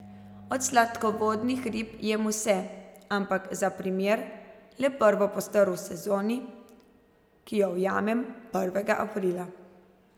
Od sladkovodnih rib jem vse, ampak, za primer, le prvo postrv v sezoni, ki jo ujamem prvega aprila.